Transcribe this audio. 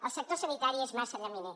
el sector sanitari és massa llaminer